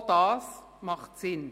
Auch das macht Sinn.